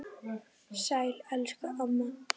Sæl elsku amma.